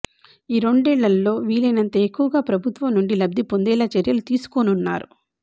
ఈ రెండేళ్లలో వీలైనంత ఎక్కువగా ప్రభుత్వం నుండి లబ్ధి పొందేలా చర్యలు తీసుకోనున్నారు